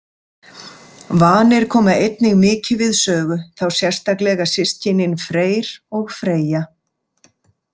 Vanir koma einnig mikið við sögu, þá sérstaklega systkinin Freyr og Freyja.